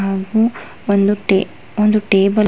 ಹುಹು ಒಂದು ಟೆ ಒಂದು ಟೇಬಲ್ --